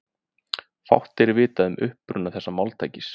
Fátt er vitað um uppruna þessa máltækis.